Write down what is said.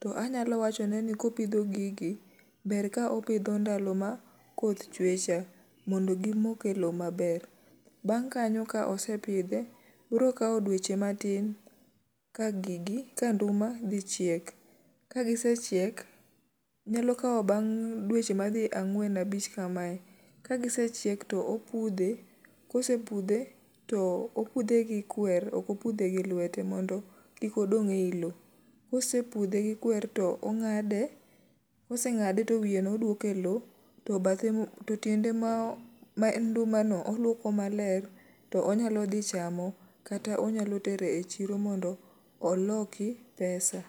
To anyalo wachone ni kopidho gigi, ber ka opidho ndalo ma koth chwe cha, mondo gimoke lo maber. Bang' kanyo ka osepidhe, bro kawo dweche matin ka gigi ka nduma dhi chiek. Ka gisechiek, nyalo kawo bang' dweche madhi ang'wen abich kamae. Ka gisechiek to opudhe, kosepudhe, to opudhe gi kwer okopudhe gi lwete mondo kik odong' ei lo. Kose pudhe gi kwer to ong'ade, kose ng'ade to wiye no odwoke lo. To bathe mo, to tiende ma o ma en nduma no olwoko maler, to onyalo dhi chamo. Kata onyalo tero e chiro mondo oloki pesa.